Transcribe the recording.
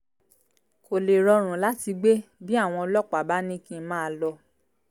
kó lè rọrùn láti gbé bí àwọn ọlọ́pàá bá ní kí n máa lọ